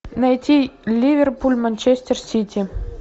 найти ливерпуль манчестер сити